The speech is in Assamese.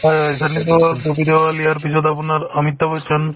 হয় হয় ছানী দেওল ববী দেওল ইয়াৰ পিছত আপোনাৰ অমিতাভ বচন